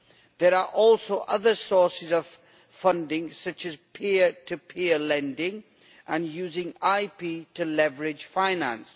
There are also other sources of funding such as peer-to-peer lending and using IP to leverage finance.